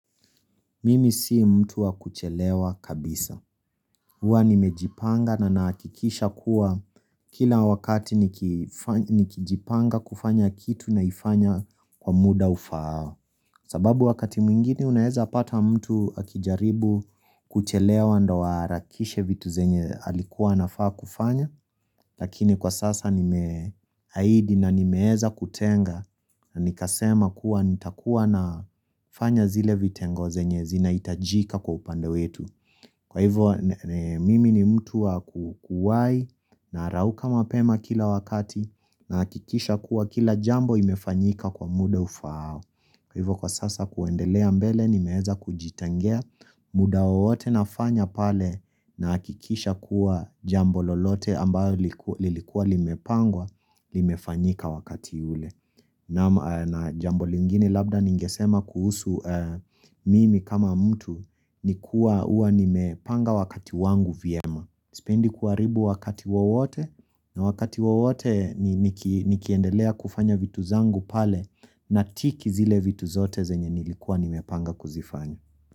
Mimi si mtu wa kuchelewa kabisa. Huwa nimejipanga na nahakikisha kuwa kila wakati nikijipanga kufanya kitu naifanya kwa muda ufaao. Sababu wakati mwingine unaeza pata mtu akijaribu kuchelewa ndawa rakishe vitu zenye alikuwa na faa kufanya. Lakini kwa sasa nimeahidi na nimeweza kutenga na nikasema kuwa nitakuwa na fanya zile vitengo zenye zinahitajika kwa upande wetu. Kwa hivo mimi ni mtu wa kukuwai na rauka mapema kila wakati na hakikisha kuwa kila jambo imefanyika kwa muda ufaao. Kwa hivyo kwa sasa kuendelea mbele nimeweza kujitengea muda wowote nafanya pale nahakikisha kuwa jambo lolote ambayo lilikua limepangwa, limefanyika wakati ule. Na jambo lingine labda ningesema kuhusu mimi kama mtu ni kuwa huwa nimepanga wakati wangu vyema. Na sipendi kuharibu wakati wowote na wakati wowote nikiendelea kufanya vitu zangu pale na tiki zile vitu zote zenye nilikua nimepanga kuzifanya.